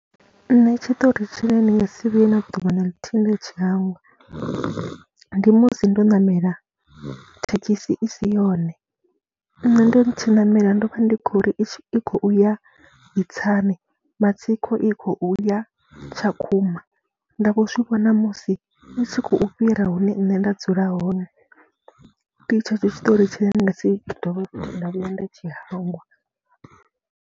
Nṋe tshiṱori tshine ndi nga si vhuye na ḓuvha na ḽithihi nda tsha hangwa ndi musi ndo ṋamela thekhisi i si yone, nṋe ndo tshi ṋamela ndo vha ndi khou ri khou ya Itsani, matsiko i khou ya Tshakhuma, nda vho zwi vhona musi i tshi khou fhira hune nṋe nda dzula hone. Ndi tshetsho tshiṱori tshine ndi nga si dovhe nda vhuya nda tshi hangwa.